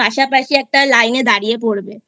পাশাপাশি একটা লাইনে দাঁড়িয়ে পড়বে I